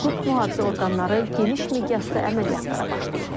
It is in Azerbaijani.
Hüquq mühafizə orqanları geniş miqyasda əməliyyatlara başlayıb.